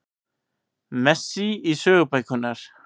Messi í sögubækurnar